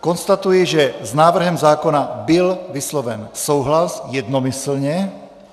Konstatuji, že s návrhem zákona byl vysloven souhlas jednomyslně.